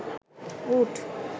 উট